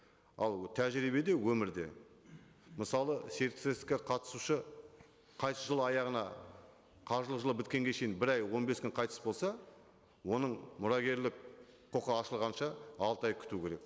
ал тәжірибеде өмірде мысалы серіктестікке қатысушы қайтыс жыл аяғына қаржылық жылы біткенге шейін бір ай он бес күн қайтыс болса оның мұрагерлік құқы ашылғанша алты ай күту керек